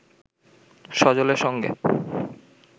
সজলের সঙ্গে